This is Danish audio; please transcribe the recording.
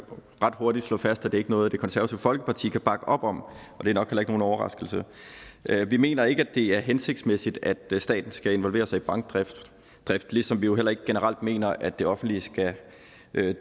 ret hurtigt slå fast at det ikke er noget det konservative folkeparti kan bakke op om og det er nok heller ikke nogen overraskelse vi mener ikke at det er hensigtsmæssigt at staten skal involvere sig i bankdrift ligesom vi jo heller ikke generelt mener at det offentlige skal